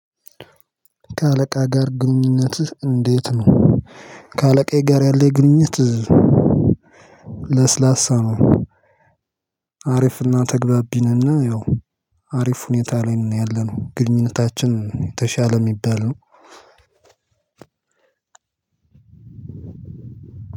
ከአለቃህ ጋር ግንኙነትህ እንዴት ነው? ከአለቃዬ ጋር ያለኝ ግንኙነት እዚህ ለስላሳ ነው። አሪፍና ተግባቢነነ ያው አሪፍ ሁኔታ ላይ ነው ያለነው ግንኙነታችን የተሻለ የሚባል ነው።